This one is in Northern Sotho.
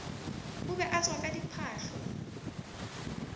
o be a tswaka diphahlo